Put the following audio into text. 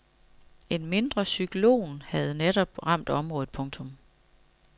En mindre cyklon havde netop ramt området. punktum